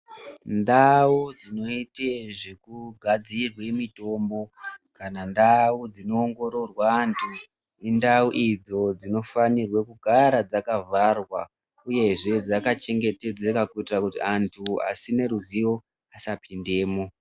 Ndau dzinoite zvekugadzirwe mitombo kana ndau dzinoongororwa antu, indau idzo dzinofanirwe kugara dzakavharwa uyezve dzakachengetedzeka kuitire kuti antu asine ruzivo asapindemo.